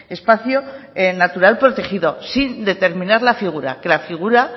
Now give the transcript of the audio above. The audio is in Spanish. espacio natural protegido sin determinar la figura que la figura